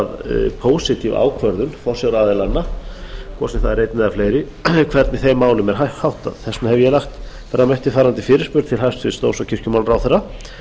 að pósitíf ákvörðun forsjáraðilanna hvort sem það er einn eða fleiri hvernig þeim málum er háttað þess vegna hef ég lagt fram eftirfarandi fyrirspurn til hæstvirts dóms og kirkjumálaráðherra